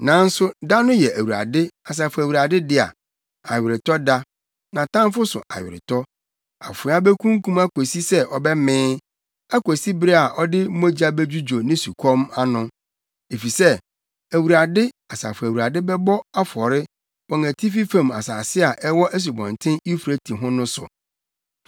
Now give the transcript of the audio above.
Nanso da no yɛ Awurade, Asafo Awurade dea, aweretɔda, nʼatamfo so aweretɔ. Afoa bekunkum akosi sɛ ɔbɛmee, akosi bere a ɔde mogya bedwudwo ne osukɔm ano. Efisɛ, Awurade, Asafo Awurade bɛbɔ afɔre wɔ atifi fam asase a ɛwɔ Asubɔnten Eufrate ho no so.